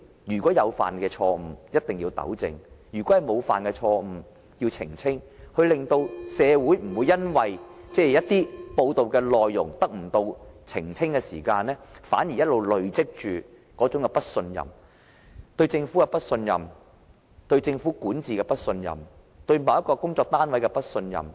如果箇中有錯，一定要糾正，如果沒有錯，便要澄清，令社會不會因為一些報道內容得不到澄清，而累積不信任：對政府的不信任、對政治管治的不信任、對某個單位的不信任。